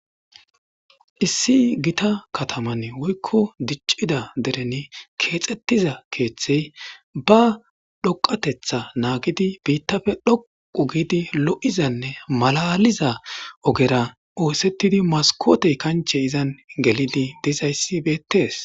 Issi gita katamin woykko dichida dereni keththida ba dhoqateta naggidi biitape lo'izane malalida ogera osetidi maskote kanche gelidi diza issi beettes.